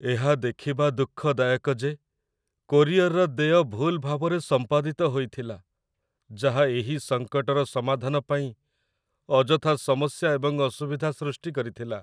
ଏହା ଦେଖିବା ଦୁଃଖଦାୟକ ଯେ କୋରିଅର୍‌ର ଦେୟ ଭୁଲ୍ ଭାବରେ ସମ୍ପାଦିତ ହୋଇଥିଲା, ଯାହା ଏହି ସଙ୍କଟର ସମାଧାନ ପାଇଁ ଅଯଥା ସମସ୍ୟା ଏବଂ ଅସୁବିଧା ସୃଷ୍ଟି କରିଥିଲା